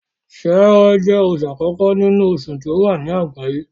Ṣẹẹrẹ jẹ́ oṣù àkókó nínú oṣù tí ó wà ní àgbáyé